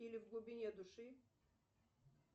или в глубине души